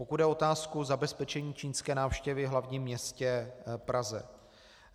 Pokud jde o otázku zabezpečení čínské návštěvy v hlavním městě Praze.